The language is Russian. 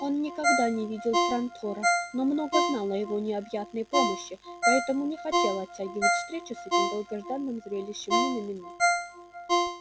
он никогда не видел трантора но много знал о его необъятной мощи поэтому не хотел оттягивать встречу с этим долгожданным зрелищем ни на минуту